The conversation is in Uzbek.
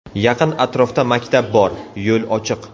Yaqin atrofda maktab bor, yo‘l ochiq.